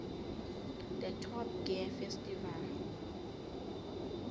the top gear festival